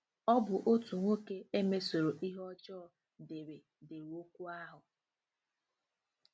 Ọ bụ otu nwoke e mesoro ihe ọjọọ dere dere okwu ahụ.